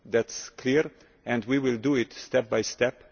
That is clear, and we will do it step by step.